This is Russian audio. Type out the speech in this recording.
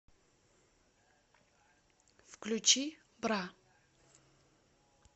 включи бра